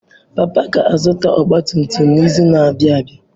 Papa ga zụta ọgba tum tum n'izu na abịa abịa.